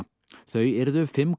þau yrðu fimm